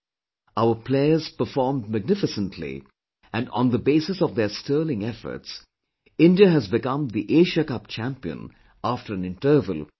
Our players performed magnificently and on the basis of their sterling efforts, India has become the Asia Cup champion after an interval of ten years